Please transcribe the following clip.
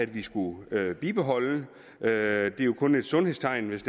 vi skulle bibeholde det er jo kun et sundhedstegn hvis